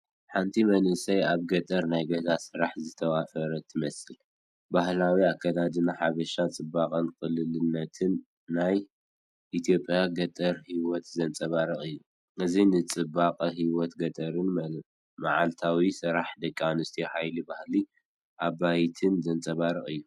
ሓንቲ መንእሰይ ኣብ ገጠር ናይ ገዛ ስራሕ ዝተዋፈረት ትመስል። ባህላዊ ኣከዳድና ሓበሻ ጽባቐን ቅልልነትን ናይ ኢትዮጵያ ገጠር ህይወት ዘንጸባርቕ እዩ። እዚ ንጽባቐ ህይወት ገጠርን መዓልታዊ ስራሕ ደቂ ኣንስትዮን ሓይሊ ባህላዊ ኣባይትን ዘንጸባርቕ እዩ።